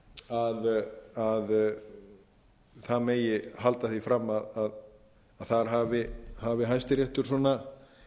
að það megi halda því fram að þar hafi hæstaréttar svona hvað eigum